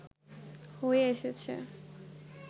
হয়ে এসেছে